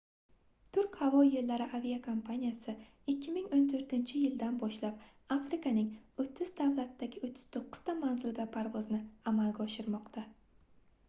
turk havo yoʻllari aviakompaniyasi 2014-yildan boshlab afrikaning 30 davlatidagi 39 ta manzilga parvozni amalga oshirmoqda